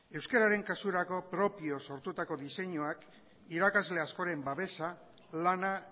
euskeraren kasurako propio sortutako diseinuak irakasle askoren babesa lana